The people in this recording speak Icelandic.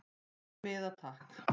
Einn miða takk